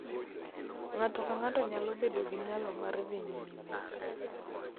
Ng�ato ka ng�ato nyalo bedo gi nyalo mar dhi nyime,